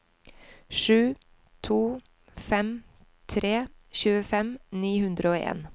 sju to fem tre tjuefem ni hundre og en